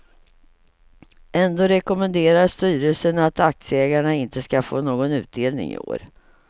Ändå rekommenderar styrelsen att aktieägarna inte ska få någon utdelning i år.